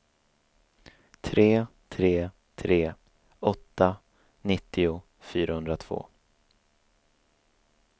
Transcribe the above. tre tre tre åtta nittio fyrahundratvå